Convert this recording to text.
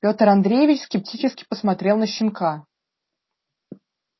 пётр андреевич скептически посмотрел на щенка